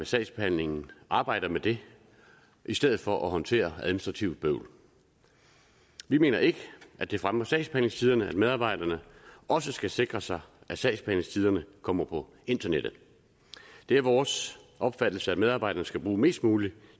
sagsbehandlingen arbejder med det i stedet for at håndtere administrativt bøvl vi mener ikke at det fremmer sagsbehandlingstiderne at medarbejderne også skal sikre sig at sagsbehandlingstiderne kommer på internettet det er vores opfattelse at medarbejderne skal bruge mest mulig